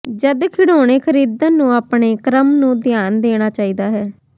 ਜਦ ਖਿਡੌਣੇ ਖਰੀਦਣ ਨੂੰ ਆਪਣੇ ਕ੍ਰਮ ਨੂੰ ਧਿਆਨ ਦੇਣਾ ਚਾਹੀਦਾ ਹੈ